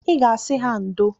I ga-asị ha ndo